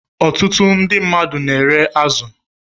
Ọtụtụ ndị mmadụ na-ere azụ